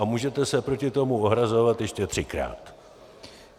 A můžete se proti tomu ohrazovat ještě třikrát!